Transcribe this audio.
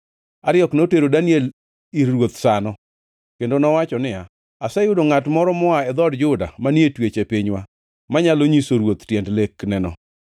Ariok notero Daniel ir ruoth sano, kendo nowacho niya, “Aseyudo ngʼat moro moa e dhood Juda, manie twech e pinywa, manyalo nyiso ruoth tiend lekneno.”